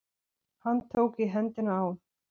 Hann tók í hendina á